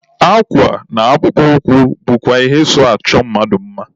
Akwa na akpụkpọ ụkwụ bụkwa ihe so achọ mmadụ mma.